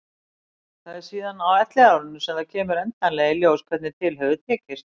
Það er síðan á elliárunum sem það kemur endanlega í ljós hvernig til hefur tekist.